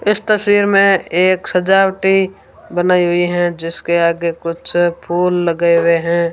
इस तस्वीर में एक सजावटी बनाई हुई है जिसके आगे कुछ फूल लगे हुए है।